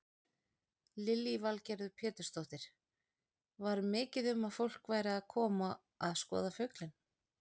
Lillý Valgerður Pétursdóttir: Var mikið um að fólk væri að koma að skoða fuglinn?